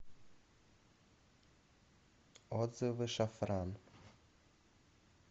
отзывы шафран